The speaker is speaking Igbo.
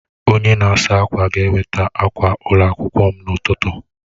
Onye na-asa ákwà ga-eweta akwa ụlọ akwụkwọ m n'ụtụtụ